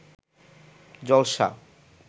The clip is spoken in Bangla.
জলসা